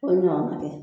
O ye ɲɔgɔn ye